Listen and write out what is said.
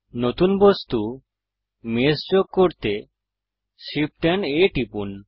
নতুন বস্তু মেশ যোগ করতে Shift এএমপি A টিপুন